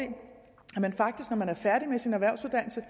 man faktisk når man er færdig med sin erhvervsuddannelse